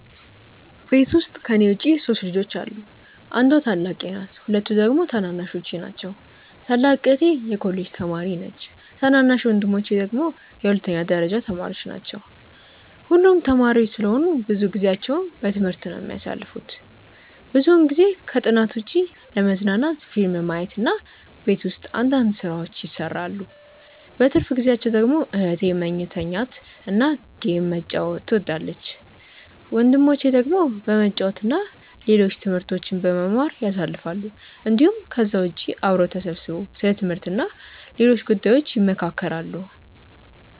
ቤት ውስጥ ከኔ ውጪ 3 ልጆች አሉ። አንዷ ታላቄ ናት ሁለቱ ደግሞ ታናናሾቼ ናቸው። ታላቅ እህቴ የኮሌጅ ተማሪ ነች ታናናሽ ወንድሞቼ ደግሞ የሁለተኛ ደረጃ ተማሪዎች ናቸው። ሁሉም ተማሪዎች ስለሆኑ ብዙ ጊዜአቸውን በትምህርት ነው የሚያሳልፉት። ብዙውን ጊዜ ከጥናት ውጪ ለመዝናናት ፊልም ማየት እና ቤት ውስጥ አንዳንድ ስራዎችን ይሰራሉ። በትርፍ ጊዜአቸው ደግሞ እህቴ መተኛት እና ጌም መጫወት ትወዳለች። ወንድሞቼ ደግሞ በመጫወት እና ሌሎች ትምህርቶችን በመማር ያሳልፋሉ እንዲሁም ከዛ ውጪ አብረው ተሰብስበው ስለ ትምህርት እና ሌሎች ጉዳዮች ይመካከራሉ።